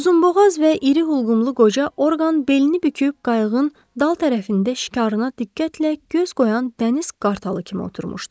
Uzunboğaz və iri hulqumlu qoca Orqan belini büküb qayığın dal tərəfində şikarına diqqətlə göz qoyan dəniz qartalı kimi oturmuşdu.